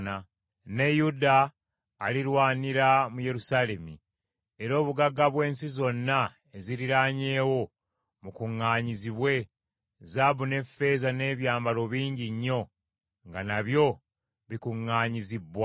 Ne Yuda alirwanira mu Yerusaalemi era obugagga bw’ensi zonna eziriraanyeewo bukuŋŋaanyizibwe, zaabu n’effeeza n’ebyambalo bingi nnyo nga nabyo bikuŋŋaanyizibbwa.